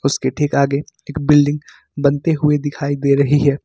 उसके ठीक आगे एक बिल्डिंग बनते हुई दिखाई दे रही है।